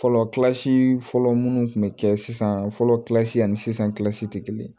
Fɔlɔ fɔlɔ munnu kun bɛ kɛ sisan fɔlɔ ani sisan tɛ kelen ye